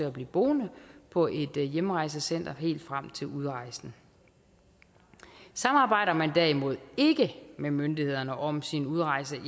at blive boende på et hjemrejsecenter helt frem til udrejsen samarbejder man derimod ikke med myndighederne om sin udrejse